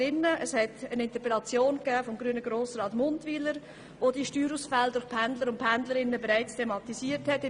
Es gab bereits 2013 eine Interpellation des grünen Grossrats Muntwyler, der die Steuerausfälle durch Pendler und Pendlerinnen thematisiert hatte.